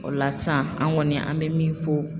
O la sisan an kɔni an bɛ min fɔ.